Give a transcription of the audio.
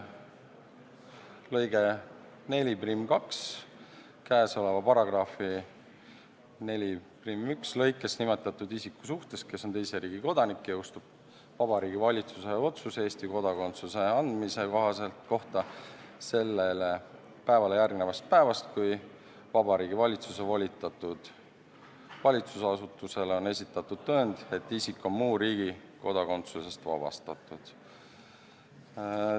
" Lõige 42: "Käesoleva paragrahvi 41. lõikes nimetatud alaealise suhtes, kes on teise riigi kodanik, jõustub Vabariigi Valitsuse otsus Eesti kodakondsuse andmise kohta sellele päevale järgnevast päevast, kui Vabariigi Valitsuse volitatud valitsusasutusele on esitatud tõend, et isik on muu riigi kodakondsusest vabastatud.